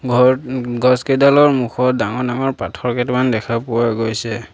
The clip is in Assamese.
ঘৰ ওম গছকেইডালৰ মুখত ডাঙৰ ডাঙৰ পাথৰ কেইটামান দেখা পোৱা গৈছে।